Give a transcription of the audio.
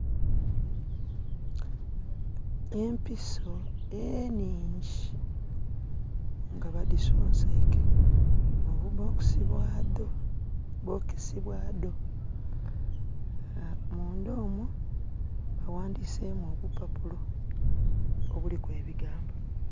Empiso enhiingi nga badhisonseike mu bu bokesi bwadho, bokesi bwadho. Munda omwo baghandhisemu obupapulo obuliku ebigambo.